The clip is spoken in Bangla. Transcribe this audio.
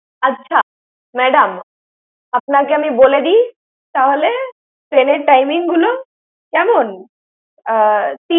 আচ্ছা madam, আপনাকে আমি বলে দিই, তাহলে train এর timing গুলো, কেমন? আহ